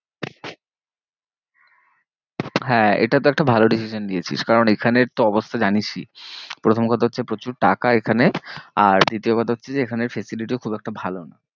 হ্যাঁ এটা তো একটা ভালো decision দিয়েছিস। কারণ এখানের তো অবস্থা জানিসই প্রথম কথা হচ্ছে প্রচুর টাকা এখানে আর দ্বিতীয় কথা হচ্ছে যে এখানে facility ও খুব একটা ভালো নয়।